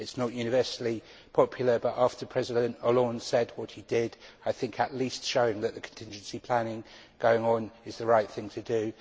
It is not universally popular but, after President Hollande said what he did, I think at least showing that contingency planning is going on is the right thing to do.